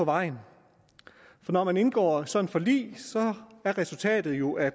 vejen for når man indgår sådan et forlig er resultatet jo at